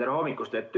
Tere hommikust!